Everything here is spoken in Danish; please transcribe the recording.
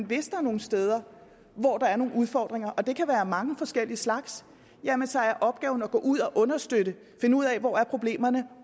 hvis der er nogle steder hvor der er udfordringer og det kan være mange forskellige slags så er opgaven at gå ud og understøtte finde ud af hvor problemerne er